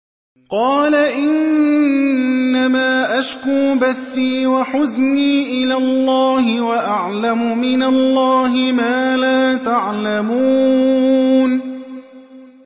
قَالَ إِنَّمَا أَشْكُو بَثِّي وَحُزْنِي إِلَى اللَّهِ وَأَعْلَمُ مِنَ اللَّهِ مَا لَا تَعْلَمُونَ